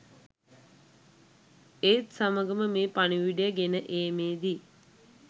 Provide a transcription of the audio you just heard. ඒත් සමගම මේ පණිවුඩය ගෙන ඒමේදී